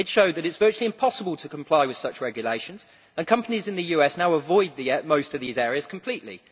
It showed that it is virtually impossible to comply with such regulations, and companies in the US now avoid most of these areas completely.